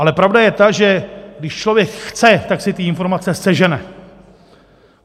Ale pravda je ta, že když člověk chce, tak si ty informace sežene.